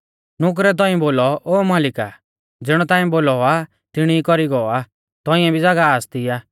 नुकरै तौंइऐ बोलौ ओ मालिका ज़िणौ ताऐं बोलौ आ तिणी ई कौरी गौ आ तौंइऐ भी ज़ागाह आसती आ